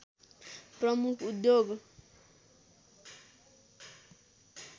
प्रमुख उद्योग